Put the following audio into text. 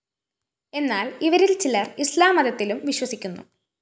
എന്നാല്‍ ഇവരില്‍ ചിലര്‍ ഇസ്ലാം മതത്തിലും വിശ്വസിക്കുന്നു